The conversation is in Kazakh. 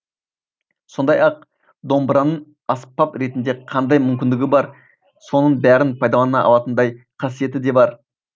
сондай ақ домбыраның аспап ретінде қандай мүмкіндігі бар соның бәрін пайдалана алатындай қасиеті де бар